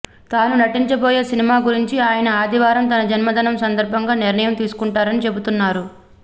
తాను నటించబోయే సినిమా గురించి ఆయన ఆదివారం తన జన్మదినం సందర్భంగా నిర్ణయం తీసుకుంటారని చెబుతున్నారు